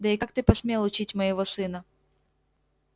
да и как ты посмел учить моего сына